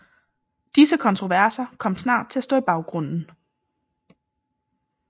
Disse kontroverser kom snart til at stå i baggrunden